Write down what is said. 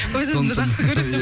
өз өзіңді жақсы көресіз